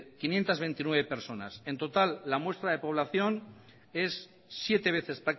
quinientos veintinueve personas en total la muestra de población es siete veces